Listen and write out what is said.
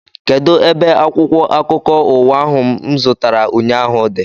Kedụ ebe akwụkwọ akụkọ ụwa ahụ mụ zụtara ụnyaahụ dị?